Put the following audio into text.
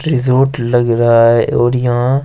resort लग रहा है और यहां--